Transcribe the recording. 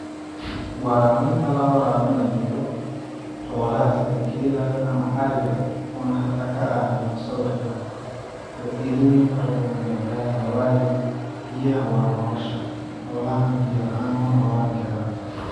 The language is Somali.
Waraabinta la waraabinayo xoolaha sida gelaha ama ariga oo hada ka aragno saawirkaan faidooyin fara badan ayay ledahay waayo biyaha waa nolosha xolaha nah biya laan ma nolaan karaan.